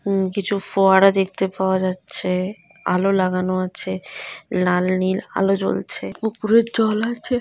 উম কিছু ফোয়ারা দেখতে পাওয়া যাচ্ছে। আলো লাগানো আছে লাল নীল আলো জ্বলছে পুকুরে জল আছে।